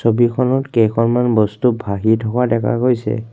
ছবিখনত কেইখনমান বস্তু ভাঁহি থকা দেখা গৈছে।